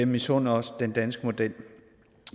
misunder os den danske model